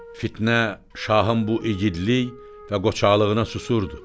Fitnə şahın bu igidlik və qoçaqlığına susurdu.